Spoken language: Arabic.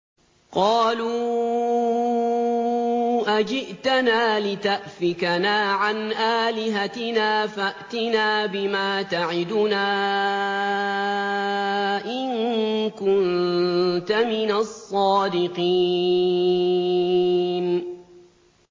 قَالُوا أَجِئْتَنَا لِتَأْفِكَنَا عَنْ آلِهَتِنَا فَأْتِنَا بِمَا تَعِدُنَا إِن كُنتَ مِنَ الصَّادِقِينَ